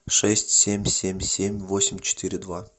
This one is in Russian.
шесть семь семь семь восемь четыре два